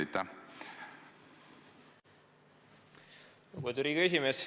Lugupeetud Riigikogu esimees!